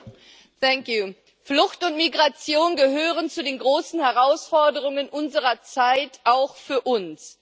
Frau Präsidentin! Flucht und Migration gehören zu den großen Herausforderungen unserer Zeit auch für uns.